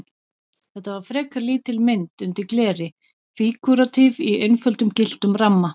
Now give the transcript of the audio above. Þetta var frekar lítil mynd undir gleri, fígúratíf í einföldum gylltum ramma.